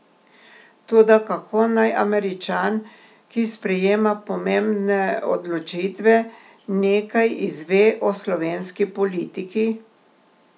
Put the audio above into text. Toda kako naj Američan, ki sprejema pomembne odločitve, nekaj izve o slovenski politiki?